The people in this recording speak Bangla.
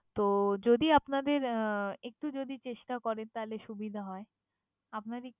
তো যদি আপনাদের আহ একটু যদি চেষ্টা করেন তাহলে সুবিধা হয়। আপনাদের